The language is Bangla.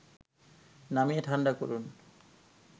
নামিয়ে ঠাণ্ডা করুন